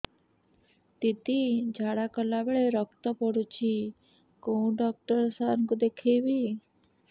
ଦିଦି ଝାଡ଼ା କଲା ବେଳେ ରକ୍ତ ପଡୁଛି କଉଁ ଡକ୍ଟର ସାର କୁ ଦଖାଇବି